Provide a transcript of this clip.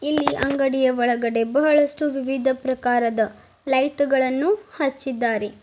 ಇಲ್ಲಿ ಅಂಗಡಿಯ ಒಳಗಡೆ ಬಹಳಷ್ಟು ವಿವಿಧ ಪ್ರಕಾರದ ಲೈಟುಗಳನ್ನು ಹಚ್ಚಿದ್ದಾರೆ.